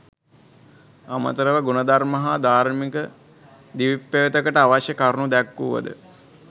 අමතරව ගුණධර්ම හා ධාර්මික දිවිපෙවතකට අවශ්‍ය කරුණු දැක්වුවද